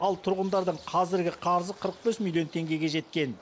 ал тұрғындардың қазіргі қарызы қырық бес миллион теңгеге жеткен